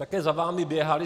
Také za vámi běhali.